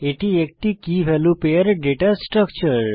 এটি একটি key value pair data structure